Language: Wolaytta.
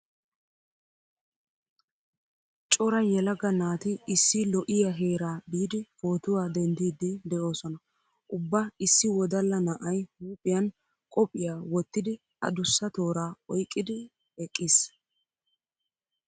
Cora yelaga naati issi lo'iya heeraa biidi pootuwa denddiiddi de'oosona. Ubba issi wodalla na'ay huuphiyan qophiya wottidi adussa tooraa oyqqidi eqqiis.